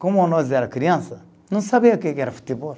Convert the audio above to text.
Como nós era criança, não sabia o que que era futebol.